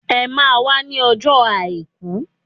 Emá a wá ní ọjọ́ àìkú!